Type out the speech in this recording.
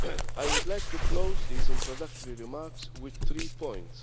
I would like to close these introductory remarks with three points.